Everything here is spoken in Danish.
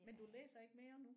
Men du læser ikke mere nu?